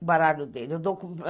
o baralho dele.